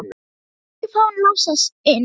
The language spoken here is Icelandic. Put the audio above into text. Ég vil ekki fá hann Lása inn.